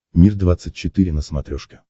мир двадцать четыре на смотрешке